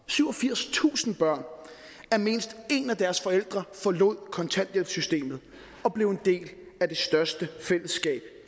syvogfirstusind børn at mindst en af deres forældre forlod kontanthjælpssystemet og blev en del af det største fællesskab